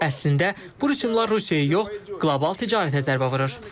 Əslində bu rüsumlar Rusiyaya yox, qlobal ticarətə zərbə vurur.